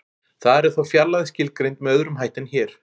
Þar er þó fjarlægð skilgreind með öðrum hætti en hér.